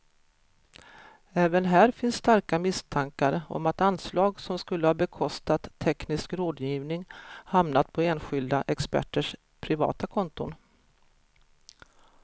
Även här finns starka misstankar om att anslag som skulle ha bekostat teknisk rådgivning hamnat på enskilda experters privata konton.